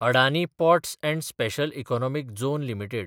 Adani ports & special economic zone limited